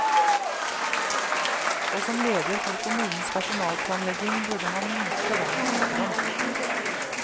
Og som leder for kommunens personalplanlegging burde han vite hva han snakker om.